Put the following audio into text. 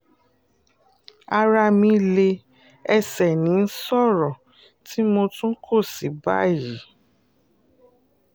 ara mi lé ẹsẹ̀ ní ìṣòro tí mo tún kó sí báyìí